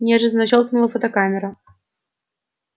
неожиданно щёлкнула фотокамера